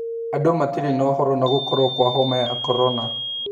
Andũ matirĩ na ũhoro na gũkorwo kwa homa ya korona